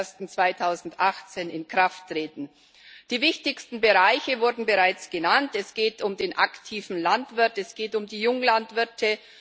1. Januar 2018 in Kraft treten. Die wichtigsten Bereiche wurden bereits genannt Es geht um den aktiven Landwirt, es geht um die Junglandwirte.